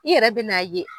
I yɛrɛ bɛ n'a ye